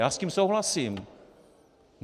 Já s tím souhlasím.